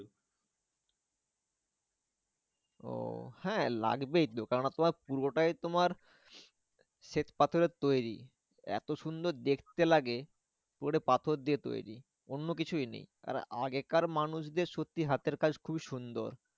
ওহ হ্যাঁ লাগবেই তো কেন না তোমার পুরোটাই তোমার শ্বেত পাথরের তৈরী এতো সুন্দর দেখতে লাগে পুরোটাই পাথর দিয়ে তৈরী। অন্য কিছুই নেই আর আগেকার মানুষদের সত্যি হাতের কাজ খুবই সুন্দর